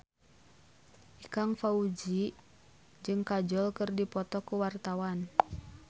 Ikang Fawzi jeung Kajol keur dipoto ku wartawan